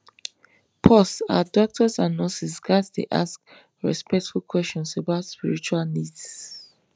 pause ah doctors and nurses ghats dey ask respectful questions about spiritual needs